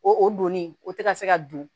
O o donni o tɛ ka se ka don